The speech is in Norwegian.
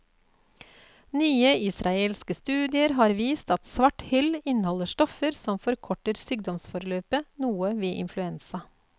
Nyere israelske studier har vist at svarthyll inneholder stoffer som forkorter sykdomsforløpet noe ved influensa.